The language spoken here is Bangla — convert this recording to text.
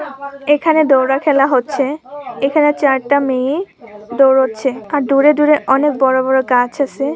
এখানে দৌড়া খেলা হচ্ছে এখানে চারটা মেয়ে দৌড়াচ্ছে আর দূরে দূরে অনেক বড় গাছ আছে।